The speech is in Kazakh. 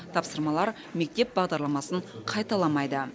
тапсырмалар мектеп бағдарламасын қайталамайды